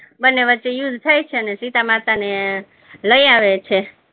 બન્ને વચ્ચે યુદ્ધ થાય છે અને સીતામાતા ને લઈ આવે છે.